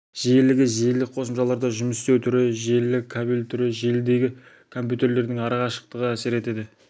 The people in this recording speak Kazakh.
жиілігі желілік қосымшаларда жұмыс істеу түрі желілік кабель түрі желідегі компьютерлердің ара қашықтығы әсер етеді